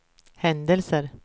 händelser